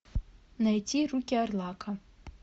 найти руки орлака